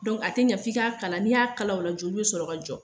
Dɔnku a tɛ kan f'i k'a kala, n'i y'a kala o la, joli bɛ sɔrɔ ka jɔ.